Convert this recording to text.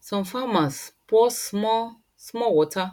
some farmers pour small small water